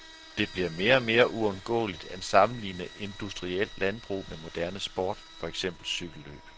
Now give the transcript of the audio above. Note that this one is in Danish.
Det bliver mere og mere uundgåeligt at sammenligne industrielt landbrug med moderne sport, for eksempel cykellløb.